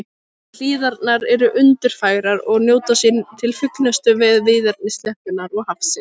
Hlíðarnar eru undurfagrar og njóta sín til fullnustu við víðerni sléttunnar og hafsins.